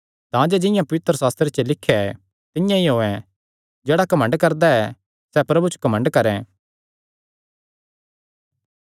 तांजे जिंआं पवित्रशास्त्रे च लिख्या ऐ तिंआं ई होयैं जेह्ड़ा घमंड करदा ऐ सैह़ प्रभु च घमंड करैं